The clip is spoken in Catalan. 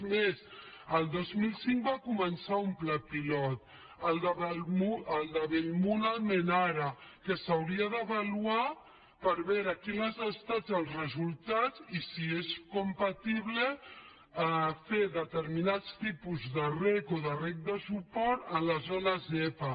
és més el dos mil cinc va començar un pla pilot el de bellmunt almenara que s’hauria d’avaluar per veure quins han estat els resultats i si és compatible fer determinats tipus de reg o de reg de suport a la zona zepa